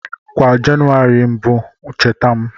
Kwa Jenụwarị 1 bụ ncheta m